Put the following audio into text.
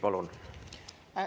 Palun!